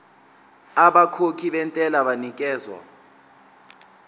abakhokhi bentela banikezwa